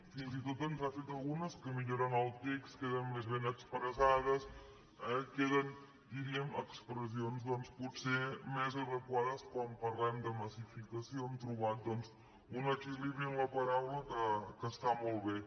fins i tot ens n’ha fet algu·nes que milloren el text queden més ben expressades queden diríem expressions doncs potser més adequa·des quan parlem de massificació hem trobat doncs un equilibri en la paraula que està molt bé